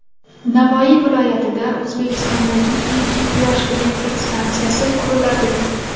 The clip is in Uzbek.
Navoiy viloyatida O‘zbekistondagi ilk quyosh elektr stansiyasi quriladi.